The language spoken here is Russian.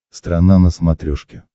страна на смотрешке